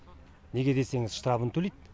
неге десеңіз штрабын төлейді